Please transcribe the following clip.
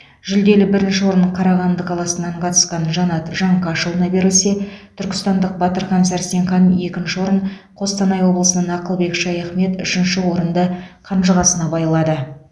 жүлделі бірінші орын қарағанды қаласынан қатысқан жанат жаңқашұлына берілсе түркістандық батырхан сәрсенхан екінші орын қостанай облысынан ақылбек шаяхмет үшінші орынды қанжығасына байлады